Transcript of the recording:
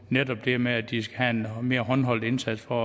netop det med at de skal have en mere håndholdt indsats for